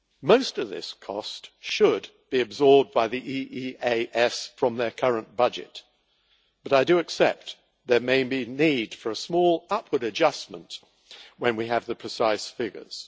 Most of this cost should be absorbed by the EEAS from their current budget, but I do accept there may be need for a small upward adjustment when we have the precise figures.